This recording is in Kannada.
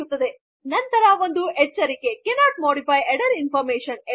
ಸಿಗುತ್ತದೆ ನಮ್ಮ ಎಚ್ಟಿಎಂಎಲ್ ಕೊಡ್